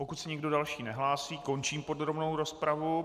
Pokud se nikdo další nehlásí, končím podrobnou rozpravu.